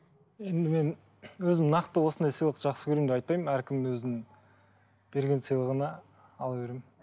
енді мен өзім нақты осындай сыйлықты жақсы көремін деп айтпаймын әркім өзінің берген сыйлығына ала беремін